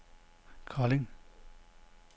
Kolding